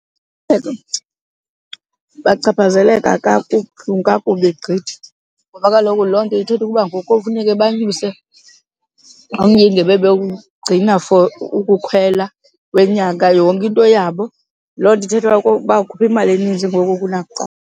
Bachaphazeleka kakubi gqithi ngoba kaloku loo nto ithetha ukuba ngoku kofuneka banyuse umyinge bebewugcina for ukukhwela wenyanga, yonke into yabo loo nto ithetha uba bawukhupha imali eninzi ngoku kunakuqala.